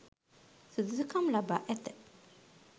සුදුසුකම් ලබා ඇත.